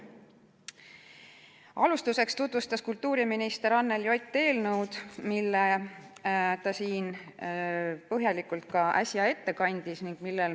Alustuseks tutvustas kultuuriminister Anneli Ott eelnõu, nagu ta siin põhjalikult ka äsja tegi.